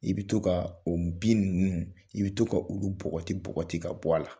I bɛ to ka o bin ninnu i bɛ to ka olu bɔgɔti bɔgɔti ka bɔ a la.